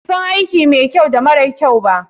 BAsu san aiki mara kyau da mai kyau.